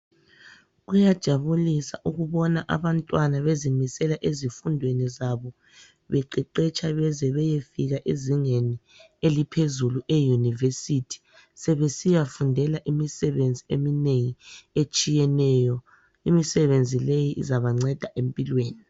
Kuyajabulisa ukubona abantwana bezimisela ezifundweni zabo beqeqetsha beze beyefika Ezingeni eliphezulu eyunivesithi sebesiyafundela imisebenzi eminengi etshiyeneyo. Imisebenzi leyi izabanceda empilweni.